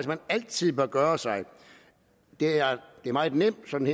man altid bør gøre sig det er meget nemt sådan